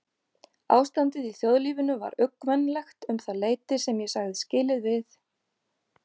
Ástandið í þjóðlífinu var uggvænlegt um það leyti sem ég sagði skilið við